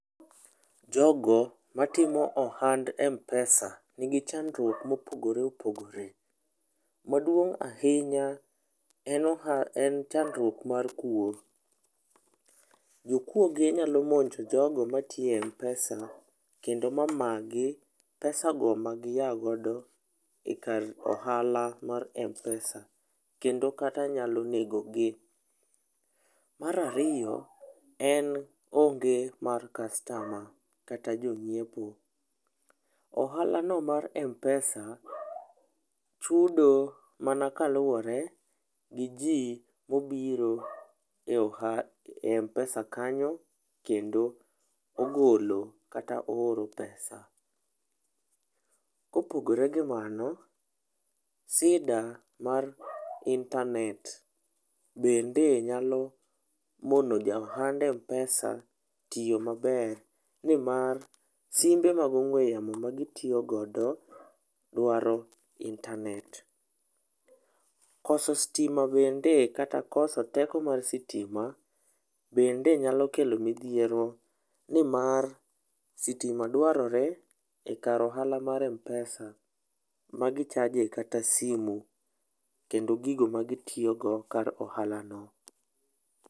Jogo matimo ohand m-pesa nigi chandruok ma opogore opogore. Maduong' ahinya en chandruok mar kuo. Jokuoge nyalo monjo ogo matiyo e m-pesa kendo ma magi pesa go ma giago e kar ohala mar m-pesa. Kendo kata nyalo nego gi. Mar ariyo en onge mar customer kata jonyiepo. Ohalano mar m-pesa chudo mana kaluwore gi ji mobiro e oha e m-pesa kanyo kendo ogolo kata oor pesa. Kopogore gi mano, shida mar intanet bende nyalo mono ja ohand m-pesa tiyo maber nimar simbe mag ong'ue yamo ma gitiyo godo dwaro intanet. Koso sitima bende kata koso teko mar sitima bende nyalo kelo midhiero nimar sitima dwarore ekar ohala mar m-pesa ma gichaje kata simu kendo gigo ma gitiyogo kar ohalano.